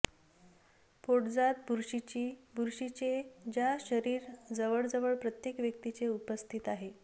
पोटजात बुरशीची बुरशीचे च्या शरीर जवळजवळ प्रत्येक व्यक्तीचे उपस्थित आहे